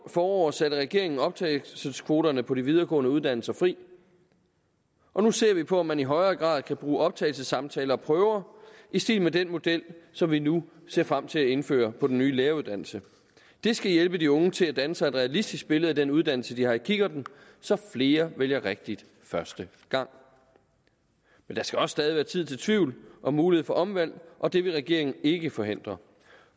forår satte regeringen optagelseskvoterne på de videregående uddannelser fri og nu ser vi på om man i højere grad kan bruge optagelsessamtaler og prøver i stil med den model som vi nu ser frem til at indføre på den nye læreruddannelse det skal hjælpe de unge til at danne sig et realistisk billede af den uddannelse de har i kikkerten så flere vælger rigtigt første gang men der skal også stadig være tid til tvivl og mulighed for omvalg og det vil regeringen ikke forhindre